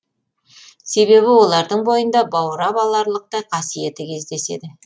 себебі олардың бойында баурап аларлықтай қасиеті кездеседі